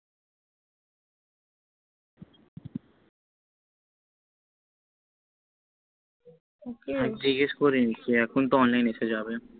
হ্য়াঁ জিগাস করে নিচ্ছি এখন তো online এসে যাবে